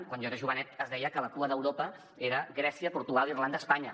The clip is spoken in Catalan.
quan jo era jovenet es deia que la cua d’europa era grècia portugal irlanda espanya